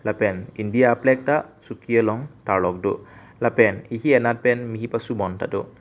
lapen india plag ta suki along tarlok do lapen ehi anat pen mehi pasu bon tado.